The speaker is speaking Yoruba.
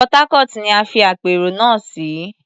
Port Harcourt ni a fi àpérò náà sí.